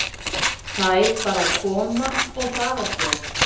Þær bara koma og fara svo.